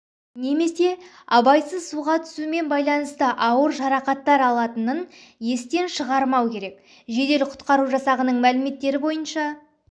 немесе абайсыз суға түсумен байланысты ауыр жарақаттар алатынын естен шығармау керек жедел-құтқару жасағының мәліметтері бойынша